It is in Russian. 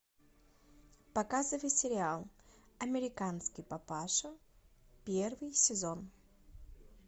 показывай сериал американский папаша первый сезон